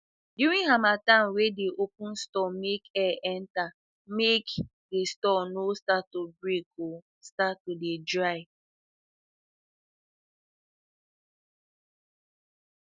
during harmattan we dey open store make air enter make make the store no start to break o start to dey dry